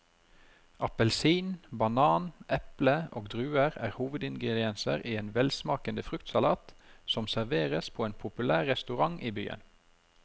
Appelsin, banan, eple og druer er hovedingredienser i en velsmakende fruktsalat som serveres på en populær restaurant i byen.